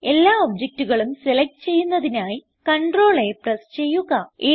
എല്ലാ ഒബ്ജക്റ്റുകളും സെലക്റ്റ് ചെയ്യുന്നതിനായി CTRLA പ്രസ് ചെയ്യുക